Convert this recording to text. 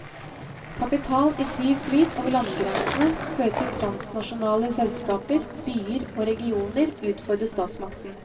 Kapital i fri flyt over landegrenser fører til at transnasjonale selskaper, byer og regioner utfordrer statsmakten.